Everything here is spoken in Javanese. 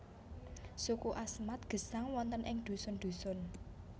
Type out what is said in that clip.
Suku Asmat gesang wonten ing dhusun dhusun